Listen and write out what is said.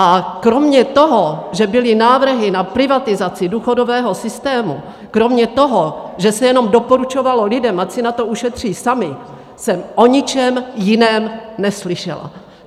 A kromě toho, že byly návrhy na privatizaci důchodového systému, kromě toho, že se jenom doporučovalo lidem, ať si na to ušetří sami, jsem o ničem jiném neslyšela.